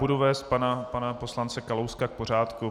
Budu vést pana poslance Kalouska k pořádku.